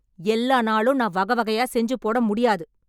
எல்லா நாளும் நான் வகை வகையா செஞ்சுபோட முடியாது